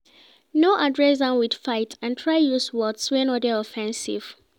No address am with fight and try use words wey no de offensive